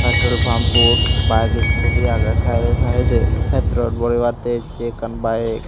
petrol pampot bus iskuti agey saidey saidey petrol borebattey essey ekkan bayek .